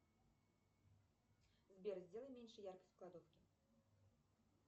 сбер сделай меньше яркость в кладовке